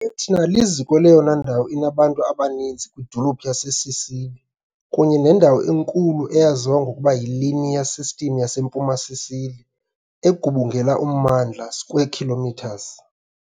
i- Etna, liziko leyona ndawo inabantu abaninzi kwidolophu yaseSicily, kunye nendawo enkulu eyaziwa ngokuba yiLinear System yaseMpuma Sicily, egubungela ummandla square kilometers .